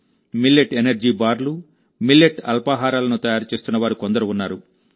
millet energy బార్లు millet అల్పాహారాలను తయారు చేస్తున్న వారు కొందరు ఉన్నారు